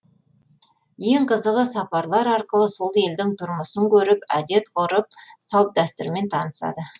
ең қызығы сапарлар арқылы сол елдің тұрмысын көріп әдет ғұрып салт дәстүрімен танысады